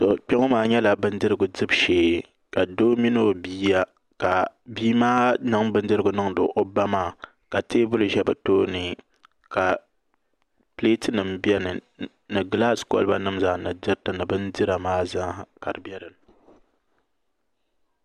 Kpɛ ŋo maa nyɛla bindirigu dibu shee ka doo mini o bia ka bia maa niŋdi bindirigu niŋdi o ba maa ka teebuli ʒɛ bi tooni ka pileet nim biɛni ni gilaas kolba nim zaa ni bindira maa zaa ka di bɛ dinni